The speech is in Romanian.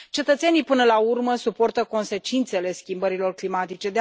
Cetățenii, până la urmă, suportă consecințele schimbărilor climatice.